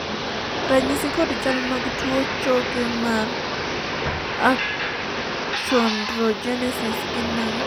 ranyisi kod chal mag tuo choke mar achondrogenesis gin mage?